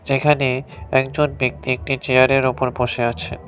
এখানে একজন ব্যক্তি একটি চেয়ারের উপর বসে আছে।